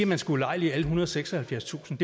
man skal ulejlige alle ethundrede og seksoghalvfjerdstusind